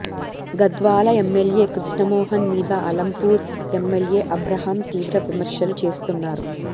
Gadwal MLA Krishna Mohan మీద Alampur MLA Abraham తీవ్ర విమర్శలు చేస్తున్నారు